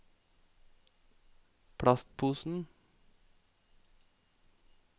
plastposen